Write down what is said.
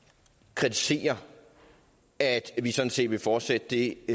kritiserer at vi sådan set vil fortsætte det